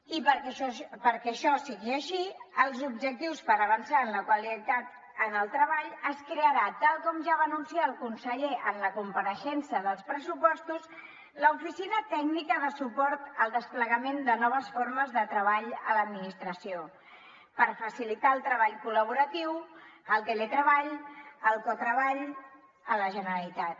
i perquè això sigui així els objectius per avançar en la qualitat en el treball es crearà tal com ja va anunciar el conseller en la compareixença dels pressupostos l’oficina tècnica de suport al desplegament de noves formes de treball a l’administració per facilitar el treball col·laboratiu el teletreball el cotreball a la generalitat